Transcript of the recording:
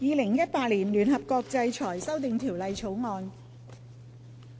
《2018年聯合國制裁條例草案》。